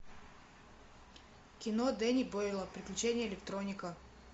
кино дени бойла приключения электроника